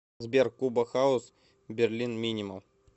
сбер куба хаус берлин минимал